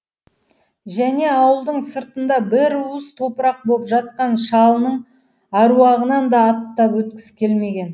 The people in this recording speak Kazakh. және ауылдың сыртында бір уыс топырақ боп жатқан шалының аруағынан да аттап өткісі келмеген